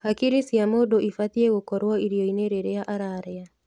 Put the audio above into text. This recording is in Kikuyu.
Hakiri cia mũndũ ibatiĩ gũkorwo irio-inĩ rĩrĩa ararĩa